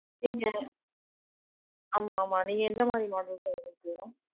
நீங்க, ஆமா ஆமா. நீங்க எந்த மாதிரி model sir உங்களுக்கு வேணும்?